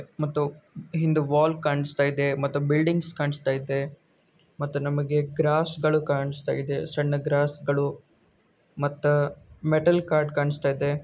ಮತ್ತು ಹಿಂದ ವಾಲಸ್ ಕನಾಸ್ತಾ ಇದೆ ಮತ್ತು ಬಿಲಾಡಿಂಗ್ಸ್ ಕನಾಸ್ತಾ ಇದೆ ಮತ್ತು ನಮಗೇ ಗ್ರಾಸ್ಗಳು ಕಾಣಸ್ತ ಇದೆ ಸಣ್ಣ ಗ್ರಾಸ್ಗಳು ಮತ್ತ ಮೆಟಲ್ ಕಾರ್ಡ್ ಕನಾಸ್ತಾ ಇದೆ.